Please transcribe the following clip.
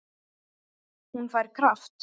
Hún fær kraft.